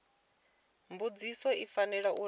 mbudziso i fanela uri i